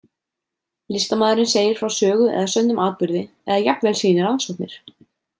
Listamaðurinn segir frá sögu eða sönnum atburði eða jafnvel sýnir rannsóknir.